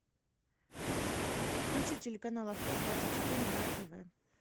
включи телеканал авто двадцать четыре на тв